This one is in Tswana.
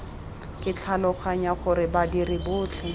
ke tlhaloganya gore badiri botlhe